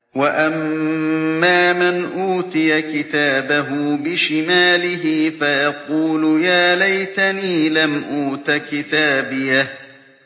وَأَمَّا مَنْ أُوتِيَ كِتَابَهُ بِشِمَالِهِ فَيَقُولُ يَا لَيْتَنِي لَمْ أُوتَ كِتَابِيَهْ